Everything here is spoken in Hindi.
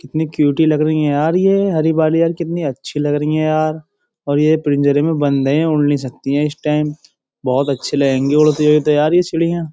कितनी क्यूटी लग रही है यार ये हरी बाली यार कितनी अच्छी लग रही है यार और ये पिंजरे में बंद है उड़ नहीं सकती हैं इस टेम । बोहोत अच्छी लगेंगी उड़ती हुई तो यार ये चिड़ियां।